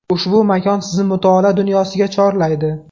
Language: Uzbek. Ushbu makon sizni mutolaa dunyosiga chorlaydi”.